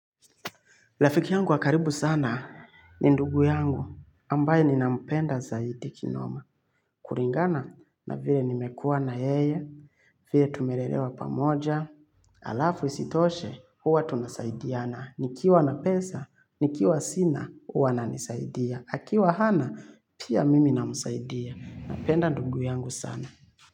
Rafiki yangu wa karibu sana ni ndugu yangu ambaye ninampenda zaidi kinoma. Kulingana na vile nimekua na yeye, vile tumelelewa pamoja, halafu isitoshe huwa tunasaidiana. Nikiwa na pesa, nikiwa sina, huwa ananisaidia. Akiwa hana, pia mimi namsaidia. Napenda ndugu yangu sana.